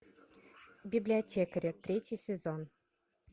библиотекари третий сезон